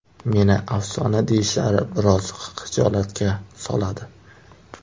Meni afsona deyishlari biroz xijolatga soladi.